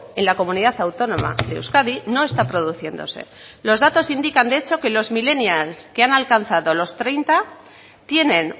en la comunidad autónoma de euskadi no está produciéndose los datos indican de hecho que los millennials que han alcanzado los treinta tienen